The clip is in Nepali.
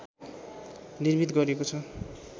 निर्मित गरिएको छ